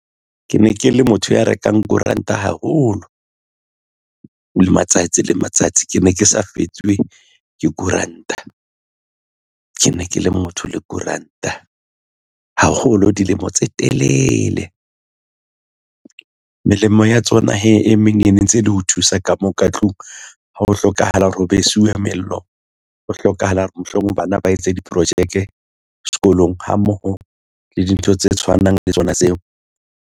Ke ne ke le motho ya rekang koranta haholo le matsatsi le matsatsi ke ne ke sa fetswe ke koranta ke ne ke le motho le koranta haholo dilemo tse telele. Melemo ya tsona hee e meng e ne ntse ele ho thusa ka moo ka tlung ha ho hlokahala hore ho besiuwe mello. Ho hlokahala hore mohlomong bana ba etse diprojeke sekolong ha mmoho le dintho tse tshwanang le tsona tseo.